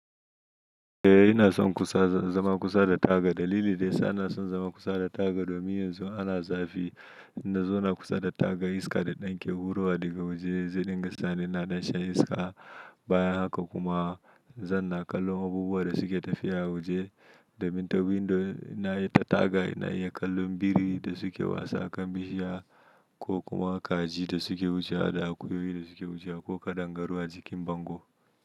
Eh ina son kusa, zama kusa da taga. Dalili da yasa ina son zama kusa da taga domin yanzu ana zafi, in na zauna kusa da taga iska da ɗan ke hurowa daga waje, zai dinga sani ina ɗan shan iska. Bayan haka kuma zan na kallon abubuwan da suke tafiya a waje. Domin ta windo, ta taga ina iya kallon su biri da suke wasa a bishiya ko kuma kaji da suke wucewa da akuyoyi da suke wucewa ko kaɗangaru a jikin bango.